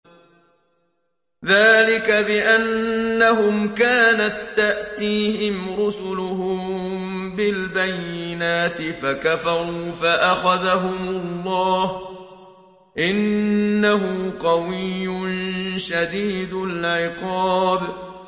ذَٰلِكَ بِأَنَّهُمْ كَانَت تَّأْتِيهِمْ رُسُلُهُم بِالْبَيِّنَاتِ فَكَفَرُوا فَأَخَذَهُمُ اللَّهُ ۚ إِنَّهُ قَوِيٌّ شَدِيدُ الْعِقَابِ